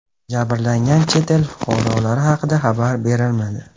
Jabrlangan chet el fuqarolari haqida xabar berilmadi.